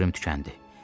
Səbrim tükəndi.